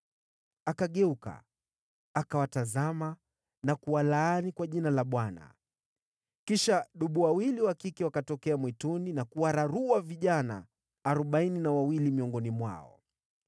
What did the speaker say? Akageuka, akawatazama na kuwalaani kwa Jina la Bwana . Kisha dubu wawili wa kike wakatokea mwituni na kuwararua vijana arobaini na wawili miongoni mwao.